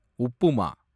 upma